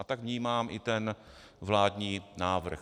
A tak vnímám i ten vládní návrh.